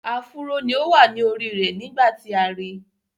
Áfúró ni ó wà ní orí rẹ̀ nígbà tí a ri.